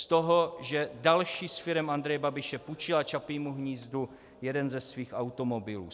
Z toho, že další z firem Andreje Babiše půjčila Čapímu hnízdu jeden ze svých automobilů.